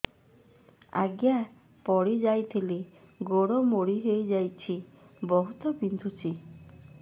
ଆଜ୍ଞା ପଡିଯାଇଥିଲି ଗୋଡ଼ ମୋଡ଼ି ହାଇଯାଇଛି ବହୁତ ବିନ୍ଧୁଛି